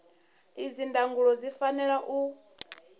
idzi ndangulo zwi fanela u